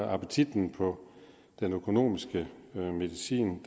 appetitten på den økonomiske medicin